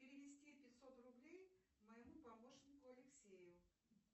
перевести пятьсот рублей моему помощнику алексею